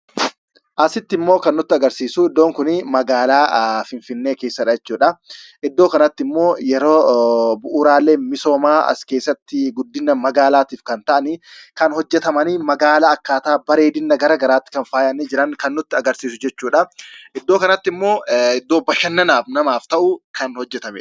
Asitti immoo kan nutti agarsiisu iddoon kun magaalaa Finfinnee keessa dha jechuudha. Iddoo kanatti immoo yeroo bu'uuraaleen misoomaa as keessatti guddina magaalaatiif kan ta'an kan hojjetaman magaalaa akkaataa bareedina garaagaraatti kan faayanii jiran kan nutti agarsiisu jechuudha. Iddoo kanatti immoo iddoo bashannanaaaf namaaf ta'u kan hojjetamee dha.